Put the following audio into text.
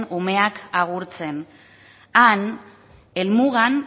umeak agurtzen han helmugan